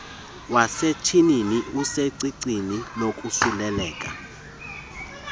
wasetyhini usecicini lokosuleleka